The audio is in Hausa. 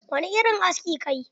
Wani irin aski kayi?